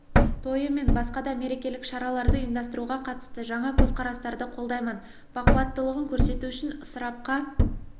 тойы мен басқа да мерекелік шараларды ұйымдастыруға қатысты жаңа көзқарастарды қолдаймын бақуаттылығын көрсету үшін ысырапқа